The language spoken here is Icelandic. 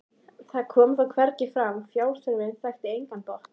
það kom þó hvergi fram: fjárþörfin þekkti engan botn.